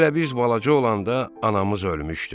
Hələ biz balaca olanda anamız ölmüşdü.